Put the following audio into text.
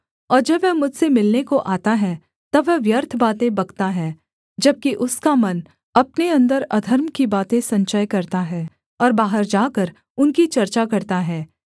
और जब वह मुझसे मिलने को आता है तब वह व्यर्थ बातें बकता है जबकि उसका मन अपने अन्दर अधर्म की बातें संचय करता है और बाहर जाकर उनकी चर्चा करता है